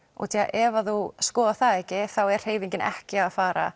ef að þú skoðar það ekki þá er hreyfingin ekki að fara